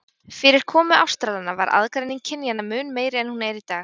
Fyrir komu Ástralanna var aðgreining kynjanna mun meiri en hún er í dag.